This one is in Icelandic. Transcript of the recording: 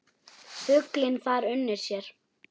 Fuglinn þar unir sér.